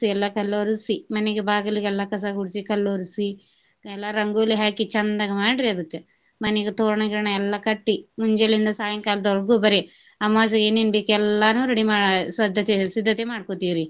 ಎಲ್ಲಾ ಕಲ್ಲ ವರ್ಸಿ ಮನಿಗ ಬಾಗಿಲ್ಗೆಲ್ಲಾ ಕಸ ಗುಡ್ಸಿ ಕಲ್ಲ ವರ್ಸಿ ಎಲ್ಲ ರಂಗೋಲಿ ಹಾಕಿ ಚಂದಗ ಮಾಡ್ರಿ ಅದಕ್ಕ ಮನಿಗ ತೋರಣ ಗಿರಣ ಎಲ್ಲಾ ಕಟ್ಟಿ ಮುಂಜೆಲಿಂದ ಸಾಯಂಕಾಲದವರೆಗು ಬರೆ ಅಮವಾಸ್ಯೆಗೆ ಏನೇನ್ ಬೇಕ ಎಲ್ಲಾನು ready ಮಾ~ ಸದ್ದತೆ ಸಿದ್ದತೆ ಮಾಡ್ಕೊತೇವ್ರೀ.